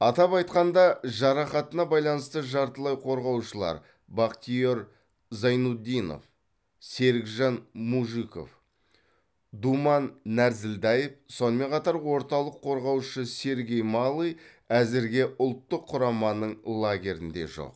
атап айтқанда жарақатына байланысты жартылай қорғаушылар бактиер зайнутдинов серікжан мужиков думан нәрзілдаев сонымен қатар орталық қорғаушы сергей малый әзірге ұлттық құраманың лагерінде жоқ